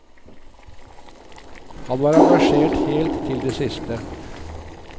Han var engasjert helt til det siste.